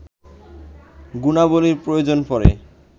গুণাবলীর প্রয়োজন পড়ে